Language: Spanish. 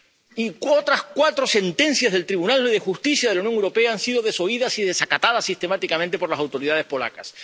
Y otras cuatro sentencias del Tribunal de Justicia de la Unión Europea han sido desoídas y desacatadas sistemáticamente por las autoridades polacas.